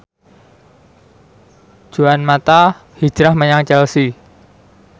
Juan mata hijrah menyang Chelsea